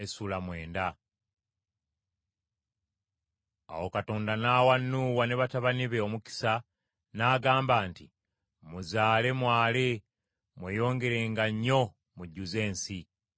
Awo Katonda n’awa Nuuwa ne batabani be omukisa n’agamba nti, “Muzaale mwale mweyongerenga nnyo mujjuze ensi.